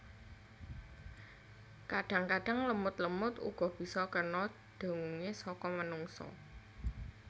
Kadang kadang lemut lemut uga bisa kena dengue saka manungsa